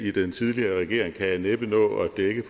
i den tidligere regering kan jeg næppe nå at dække